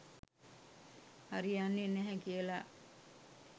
හරි යන්නේ නැහැ කියලා.